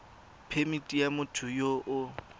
phemithi ya motho yo o